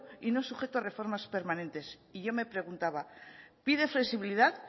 y no sujeto a reformas permanentes y yo me preguntaba pide flexibilidad